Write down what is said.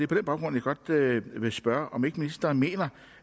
den baggrund jeg godt vil spørge om ikke ministeren mener